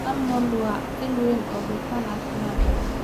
Almonds waa il weyn oo dufan caafimaad leh.